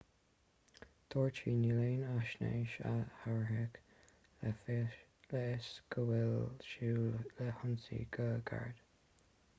dúirt sí níl aon fhaisnéis a thabharfadh le fios go bhfuil súil le hionsaí go gairid